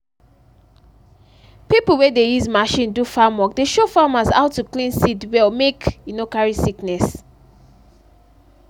pipo wey de use machine do farm work dey show farmers how to clean seed well mek e no carry sickness.